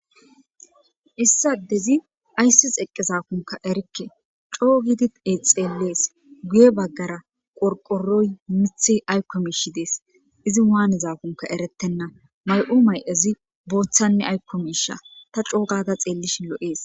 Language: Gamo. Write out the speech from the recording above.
issa dezi ayssis eqqezakunka erikke coo gidi exeellees guye baggara qorqoroy mithi aykko miishi dees izi waanezakunka erettenna may7u may7azi booththanne aykko miisha ta coogada xeellishin lo7ees